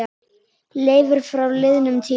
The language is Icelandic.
Leiftur frá liðnum tíma.